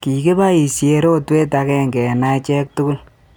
Kikiboisye rotwet agenge eng acheek tugul